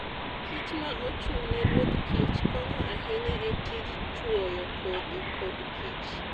kich ma ochung' ne ruodh kich konyo ahinya e tij chwoyo kodhi kodkich.